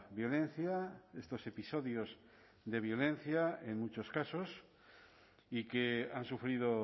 violencia estos episodios de violencia en muchos casos y que han sufrido